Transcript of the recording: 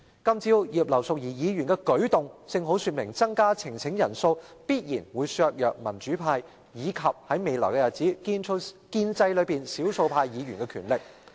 今早葉劉淑儀議員的舉動正好說明，增加呈請人數必然會削弱民主派及——在未來日子——建制派內的少數派議員的力量。